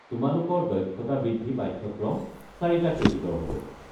তোমালোকৰ দক্ষতা বৃদ্ধি পাঠ্যক্ৰম চাৰিটা ক্ৰেডিটৰ হ'ব।